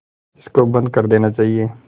इसको बंद कर देना चाहिए